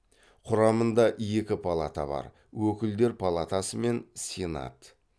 құрамында екі палата бар өкілдер палатасы мен сенат